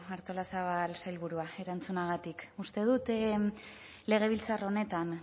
artolazabal sailburua erantzunagatik uste dut legebiltzar honetan